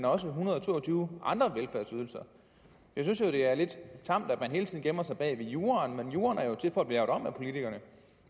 også en hundrede og to og tyve andre velfærdsydelser jeg synes jo det er lidt tamt at man hele tiden gemmer sig bag juraen juraen er jo til for at blive lavet om af politikerne